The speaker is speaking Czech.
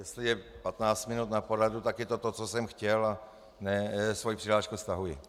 Jestli je 15 minut na poradu, tak je to to, co jsem chtěl, a svoji přihlášku stahuji.